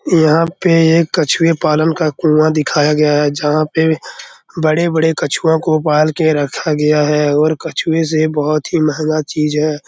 यहाँ पे एक कछुए पालन का कुआँ दिखाया गया है जहाँ पे बड़े-बड़े कछुओं को पाल के रखा गया है और कछुए से बहुत ही महंगा चीज़ है।